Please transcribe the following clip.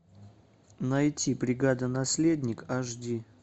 найти бригада наследник аш ди